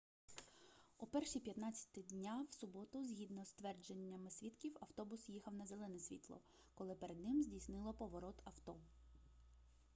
о 1:15 дня в суботу згідно з твердженнями свідків автобус їхав на зелене світло коли перед ним здійснило поворот авто